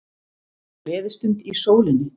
Gleðistund í sólinni